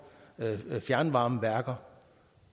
fjernvarmeværker